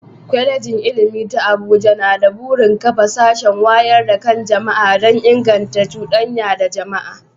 Kwalejin Ilimi ta Abuja na da burin kafa sashin wayar da kan jama'a don inganta cudanya da jama'a.